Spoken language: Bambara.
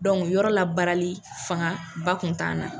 Dɔnku yɔrɔ la baarali fanga ba tun t'an na.